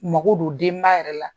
Mako don denba yɛrɛ la